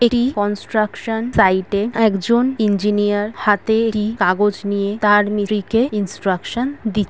এটি কন্সট্রাকশন সাইটে একজন ইঞ্জিনিয়ার হাতে এটি কাগজ নিয়ে তার কে ইন্সট্রাকশন দি--